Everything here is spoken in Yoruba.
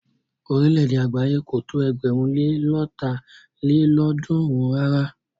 Orílẹ̀-èdè àgbáyé kò tó ẹgbẹ̀rún lé lọ́ta lélọ́ọ̀dúnrún rárá.